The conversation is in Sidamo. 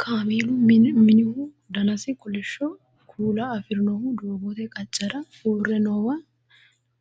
kameelu minihu danasi kolishsho kuula afirinohu doogote qaccera uurre noowa